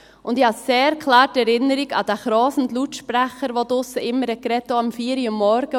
Und ich habe eine sehr klare Erinnerung an den rauschenden Lautsprecher, der draussen immer sprach, auch um vier Uhr morgens.